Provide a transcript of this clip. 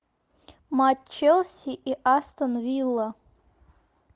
матч челси и астон вилла